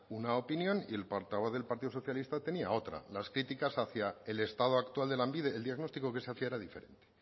una opinión y el portavoz del partido socialista tenía otra las críticas hacía el estado actual de lanbide el diagnóstico que se hacía era diferente